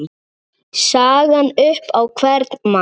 sagan upp á hvern mann